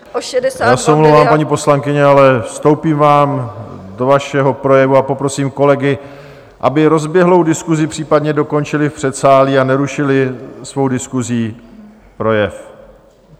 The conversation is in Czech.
Já se omlouvám, paní poslankyně, ale vstoupím vám do vašeho projevu a poprosím kolegy, aby rozběhlou diskusi případně dokončili v předsálí a nerušili svou diskusí projev.